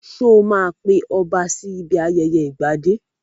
Sọ ma pe ọba sí ibi ayẹyẹ ìgbadé?